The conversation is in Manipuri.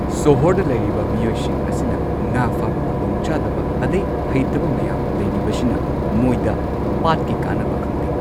ꯁꯣꯍꯣꯔꯗ ꯂꯩꯔꯤꯕ ꯃꯤꯑꯣꯏꯁꯤꯡ ꯑꯁꯤꯅ ꯉꯥ ꯐꯥꯕ ꯈꯨꯗꯣꯡꯆꯥꯗꯕ ꯑꯗꯩ ꯍꯩꯇꯕ ꯃꯌꯥꯝ ꯂꯩꯔꯤꯕꯁꯤꯅ ꯃꯣꯏꯗ ꯄꯥꯠꯀꯤ ꯀꯥꯟꯅꯕ ꯈꯪꯗꯦ꯫